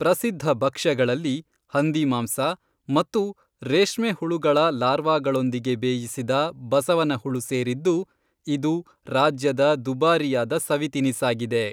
ಪ್ರಸಿದ್ಧ ಭಕ್ಷ್ಯಗಳಲ್ಲಿ ಹಂದಿಮಾಂಸ ಮತ್ತು ರೇಷ್ಮೆ ಹುಳುಗಳ ಲಾರ್ವಾಗಳೊಂದಿಗೆ ಬೇಯಿಸಿದ ಬಸವನಹುಳು ಸೇರಿದ್ದು, ಇದು ರಾಜ್ಯದ ದುಬಾರಿಯಾದ ಸವಿ ತಿನಿಸಾಗಿದೆ.